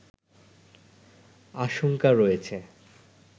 আশংকা রয়েছে